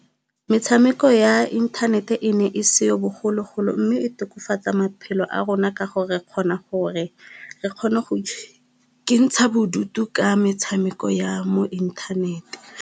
Metshameko ya intanete ne e seo bogologolo, mme e tokafatsa maphelo a rona ka gore kgona gore re kgone go ikentsha bodutu ka metshameko ya mo inthanete.